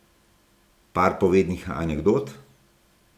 Par povednih anekdot?